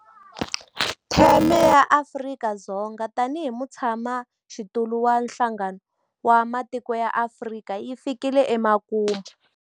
Theme ya Afrika-Dzonga tanihi mutshamaxitulu wa Nhlangano wa Matiko ya Afrika yi fikile emakumu.